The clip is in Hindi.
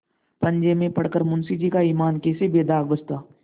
पंजे में पड़ कर मुंशीजी का ईमान कैसे बेदाग बचता